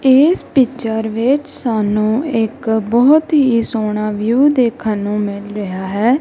ਇਸ ਪਿਕਚਰ ਵਿੱਚ ਸਾਨੂੰ ਇੱਕ ਬਹੁਤ ਹੀ ਸੋਹਣਾ ਵਿਊ ਦੇਖਣ ਨੂੰ ਮਿਲ ਰਿਹਾ ਹੈ।